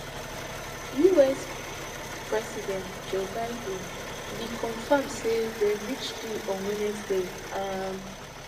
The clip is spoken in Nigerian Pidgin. us president joe biden bin confam say dem reach deal on wednesday